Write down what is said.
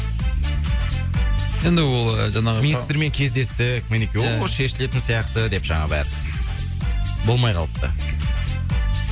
енді ол жаңағы министрмен кездестік ол шешілетін сияқты деп жаңағы бәрі болмай қалыпты